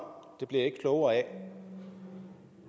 det blev jeg ikke klogere af